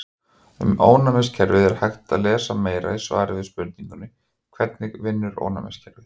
Um ónæmiskerfið er hægt að lesa meira í svari við spurningunni Hvernig vinnur ónæmiskerfið?